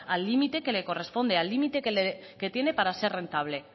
al límite que le corresponde al límite que tienen para ser rentable